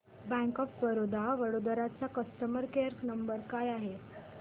bank of Baroda Vadodara चा customer care number काय आहे